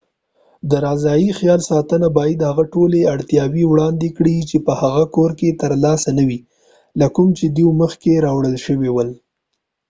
رضاعي خیال ساتنه باید هغه ټولې اړتیاوې وړاندې کړي چې په هغه کور کې ترلاسه نه وې له کوم چې دوی مخکې راوړل شوي ول